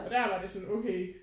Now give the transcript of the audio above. Og der var det sådan okay